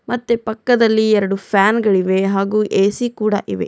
ಮತ್ತೆ ಪಕ್ಕದಲ್ಲಿ ಎರಡು ಫ್ಯಾನ್ಗಳಿವೆ ಹಾಗೂ ಎ_ಸಿ ಕೂಡ ಇವೆ.